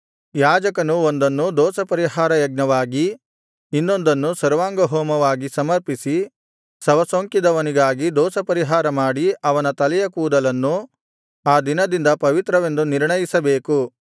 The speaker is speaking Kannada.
ಯಾಜಕನು ಒಂದನ್ನು ದೋಷಪರಿಹಾರ ಯಜ್ಞವಾಗಿ ಇನ್ನೊಂದನ್ನು ಸರ್ವಾಂಗಹೋಮವಾಗಿ ಸಮರ್ಪಿಸಿ ಶವಸೋಂಕಿದವನಿಗಾಗಿ ದೋಷಪರಿಹಾರ ಮಾಡಿ ಅವನ ತಲೆಯ ಕೂದಲನ್ನು ಆ ದಿನದಿಂದ ಪವಿತ್ರವೆಂದು ನಿರ್ಣಯಿಸಬೇಕು